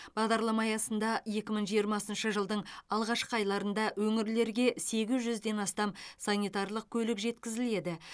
бағдарлама аясында екі мың жиырмасыншы жылдың алғашқы айларында өңірлерге сегіз жүзден астам санитарлық көлік жеткізіледі